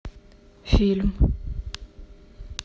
фильм